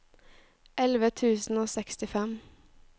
elleve tusen og sekstifem